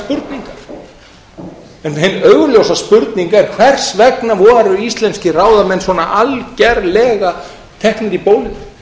spurningar en hin augljósa spurning er hvers vegna voru íslenskir ráðamenn svona algjörlega teknir í bólinu